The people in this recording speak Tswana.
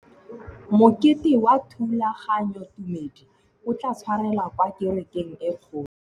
Mokete wa thulaganyôtumêdi o tla tshwarelwa kwa kerekeng e kgolo.